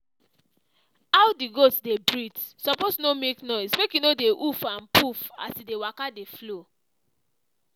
how the goat dey breathe suppose no make noise make e no dey huff and puff as e dey waka dey flow.